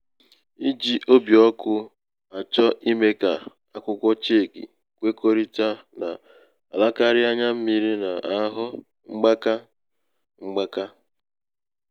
ijī um obì ọkụ̄ àchọ imē kà um akwụkwọ cheki kwekọrịta nà-àlakarị n’anya mmiri nà ahù um mgbaka. ahù um mgbaka.